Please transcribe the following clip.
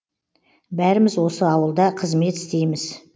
бәріміз осы ауылда қызмет істейміз